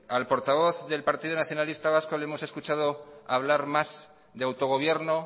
al portavoz del partido nacionalista vasco le hemos escuchado hablar más de autogobierno